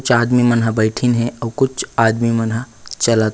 चार आदमी मन बैठन है और कुछ आदमी मनह चलत ही। --